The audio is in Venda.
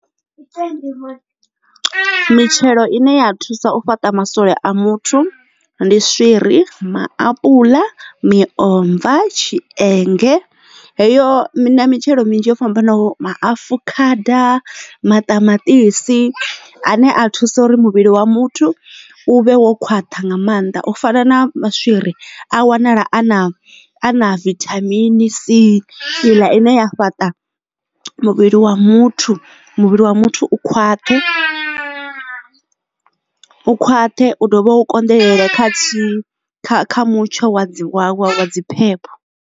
U tendelwa mitshelo ine ya thusa u fhaṱa maswole a muthu ndi swiri, maapuḽa, miomva, tshienge heyo mitshelo minzhi yo fhambanaho maafukhada maṱamaṱisi ane a thusa uri muvhili wa muthu u vhe khwaṱha nga mannḓa u fana na maswiri a wanala a na na vithamini C iḽa ine ya fhaṱa muvhili wa muthu muvhili wa muthu u khwaṱhe u khwaṱhe u dovha u konḓelela kha thihi kha mutsho wa dzi wawe wa dzi phepho.